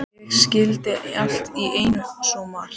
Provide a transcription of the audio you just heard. Ég skildi allt í einu svo margt.